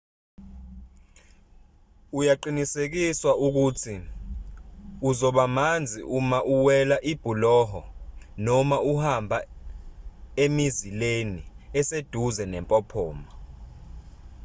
uyaqinisekiswa ukuthi uzoba manzi uma uwela ibhuloho noma uhamba emizileni eseduze nempophoma